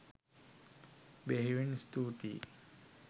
බෙහෙවින් ස්තුතියි.